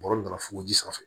Bɔrɔ nana fuguji sanfɛ